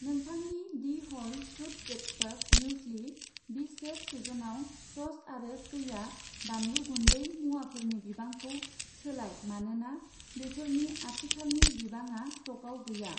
नोंथांनि the whole truth breakfast muesli, बिशेफ Schezwan sauce आरो कैया बानलु गुन्दै मुवाफोरनि बिबांखौ सोलाय मानोना बेफोरनि आथिखालनि बिबाङा स्टकआव गैया